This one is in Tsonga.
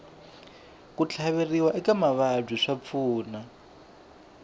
ku tlhaveriwa eka mavabyi swa pfuna